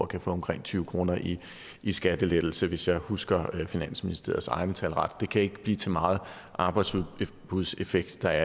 kan få omkring tyve kroner i i skattelettelser hvis jeg husker finansministeriets egne tal ret det kan ikke blive til meget arbejdsudbudseffekt der